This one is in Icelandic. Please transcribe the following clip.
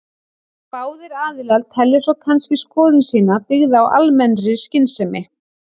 Báðir aðilar telja svo kannski skoðun sína byggða á almennri skynsemi.